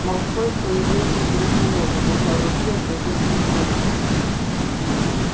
малфой появился через минуту держа в руке газетную вырезку